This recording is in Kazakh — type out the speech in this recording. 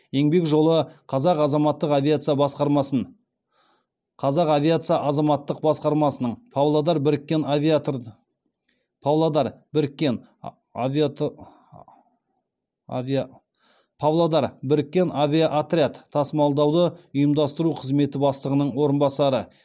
еңбек жолы қазақ авиация азаматтық басқармасының павлодар біріккен авиаотряд тасымалдауды ұйымдастыру қызметі бастығының орынбасары